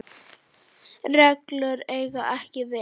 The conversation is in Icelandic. reglur eiga ekki við.